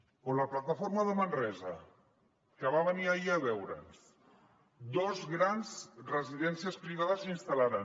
o la plataforma de manresa que va venir ahir a veure’ns dos grans residèn·cies privades s’hi instal·laran